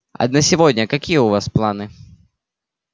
а на сегодня какие у вас планы